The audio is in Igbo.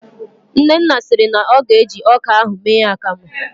Nnenna siri na ọ ga-eji ọka ahụ mee akamụ